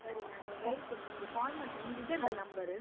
ಸರಿ ನಾನ್ ಹೇಳ್ತೇನೆ. ನಿಮ್ಗೆ call ಮಾಡ್ತೇನೆ ನಿಮ್ದು ಇದೆ ಅಲ number.